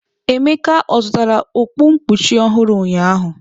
Emeka zụtara okpu nkpuchi ọhụrụ ụnyahụ?